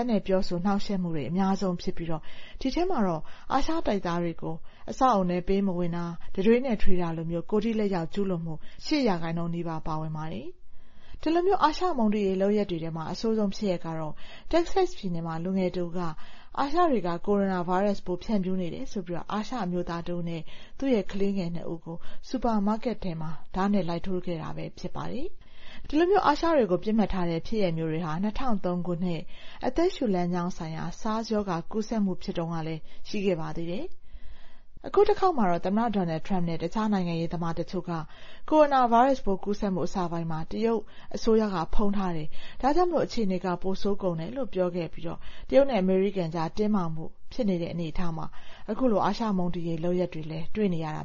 တ်နဲ့ ပြောဆိုနှောင့်ယှက်မှုတွေက အများစုဖြစ်ပြီး ဒီထဲမှာတော့ အာရှတိုက်သားတွေကို အဆောက်အဦထဲ ပေးမဝင်တာ၊ တံတွေးနဲ့ထွေးတာလို ကိုယ်ထိလက်ရောက် ကျူးလွန်မှု ၈ ရာခိုင်နှုန်း ပါဝင်ပါတယ်။ အဆိုးရွားဆုံး ဖြစ်ရပ်တခုကတော့ တက္ကဆက်စ်ပြည်နယ်မှာ လူငယ်တဦးက အာရှနွယ်ဖွားတွေဟာ ကိုရိုနာဗိုင်းရပ်စ်ကို ဖြန့်ဖြူးနေပါတယ်ဆိုပြီး စူပါမားကက်တခုမှာ အာရှအမျိုးသားတဦးနဲ့ သူ့ကလေးငယ် ၂ ဦးကို ဓားနဲ့ လိုက်ထိုးခဲ့တာပဲ ဖြစ်ပါတယ်။ ဒီလို အာရှတိုက်သားတွေကို ပစ်မှတ်ထားတဲ့ဖြစ်ရပ်ဟာ ၂၀၀၃ ခုနှစ် အသက်ရှူလမ်းကြောင်းဆိုင်ရာ SARS ရောဂါ ကူးစက်မှုတုန်းကလည်း ဖြစ်ခဲ့သေးတာပါ။ အခုတခေါက်မှာတော့ သမ္မတ Donald Trump နဲ့ တခြားနိုင်ငံရေးသမားတချို့က ကိုရိုနာဗိုင်းရပ်စ်ပိုး ကူးစက်မှု အစပိုင်းမှာ တရုတ်က ဖုံးထားတယ်၊ ဒါ့ကြောင့် အခြေအနေတွေ ပိုဆိုးကုန်တာဖြစ်တယ်လို့ ပြောခဲ့ပြီး တရုတ်နဲ့ အမေရိကန်ကြား တင်းမာမှု ဖြစ်နေတဲ့ အနေအထားမှာ အခုလို အာရှမုန်းတီးရေး လုပ်ရပ်တွေလည်း တွေ့နေရတ